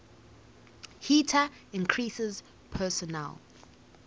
heater increases personal